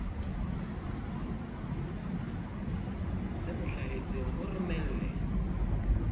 se mo hlahetseng mo romelle